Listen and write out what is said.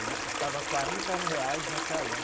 Ele custava quarenta reais na Kallan.